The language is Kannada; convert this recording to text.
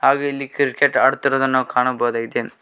ಹಾಗೆ ಇಲ್ಲಿ ಕ್ರಿಕೆಟ್ ಆಡ್ತಿರುವುದನ್ನು ನಾವು ಕಾಣಬೋದಾಗಿದೆ.